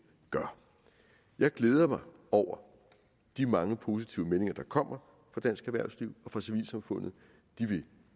gør jeg glæder mig over de mange positive meldinger der kommer fra dansk erhvervsliv og fra civilsamfundet de vil